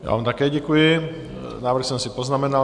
Já vám také děkuji, návrh jsem si poznamenal.